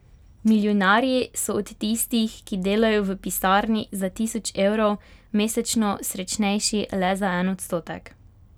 Milijonarji so od tistih, ki delajo v pisarni za tisoč evrov, mesečno srečnejši le za en odstotek!